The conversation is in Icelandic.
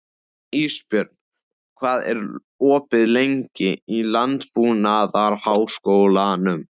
Ísbjörn, hvað er opið lengi í Landbúnaðarháskólanum?